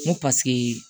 N ko paseke